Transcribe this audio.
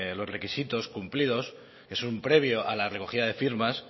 los requisitos cumplidos es un previo a la recogida de firmas